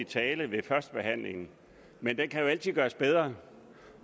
tale ved førstebehandlingen men den kan jo altid gøres bedre